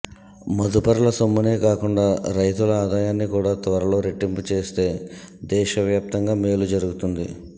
మదుపర్ల సొమ్మునే కాకుండా రైతుల ఆదాయాన్ని కూడా త్వరలో రెట్టింపు చేస్తే దేశ వ్యాప్తంగా మేలు జరుగుతుంది